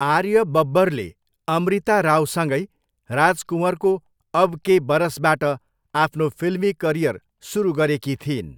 आर्य बब्बरले अमृता रावसँगै राज कुँवरको अब के बरसबाट आफ्नो फिल्मी करियर सुरु गरेकी थिइन्।